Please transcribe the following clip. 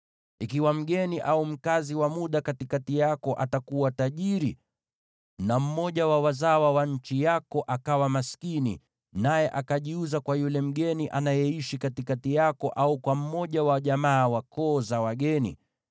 “ ‘Ikiwa mgeni au mkazi wa muda katikati yako atakuwa tajiri, na mmoja wa wazawa wa nchi yako akawa maskini, naye akajiuza kwa yule mgeni anayeishi katikati yako, au kwa mmoja wa jamaa wa koo za wageni,